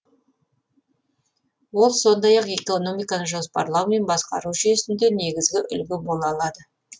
ол сондай ақ экономиканы жоспарлау мен басқару жүйесінде негізгі үлгі бола алады